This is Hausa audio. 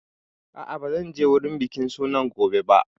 A'a, ba zan je wurin bikin sunan gobe ba